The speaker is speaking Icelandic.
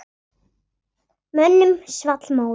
Mönnum svall móður.